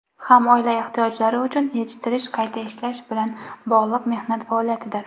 ham oila ehtiyojlari uchun yetishtirish (qayta ishlash) bilan bog‘liq mehnat faoliyatidir.